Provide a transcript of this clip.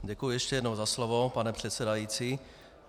Děkuji ještě jednou za slovo, pane předsedající.